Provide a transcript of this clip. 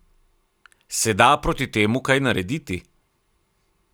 Se da proti temu kaj narediti?